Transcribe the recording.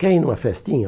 Quer ir numa festinha?